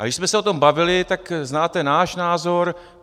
A když jsme se o tom bavili, tak znáte náš názor.